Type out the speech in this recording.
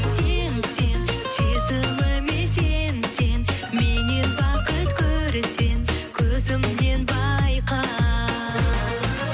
сен сен сезіміме сенсең меннен бақыт көрсең көзімнен байқа